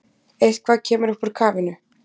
Eitthvað kemur upp úr kafinu